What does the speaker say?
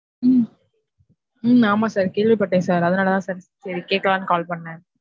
உம் உம் ஆமா sir கேள்விபட்டேன் sir அதுனால தான் sir கேக்குலான் call பண்ணன்